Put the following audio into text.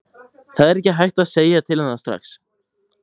Það er ekki hægt að segja til um það strax.